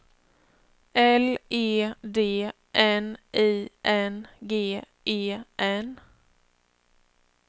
L E D N I N G E N